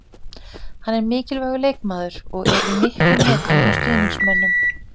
Hann er mikilvægur leikmaður og er í miklum metum hjá stuðningsmönnum.